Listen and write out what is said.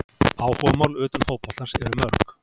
Áhugamál utan fótboltans eru mörg.